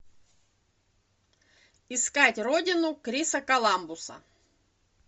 искать родину криса коламбуса